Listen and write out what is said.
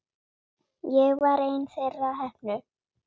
Ég var ein þeirra heppnu.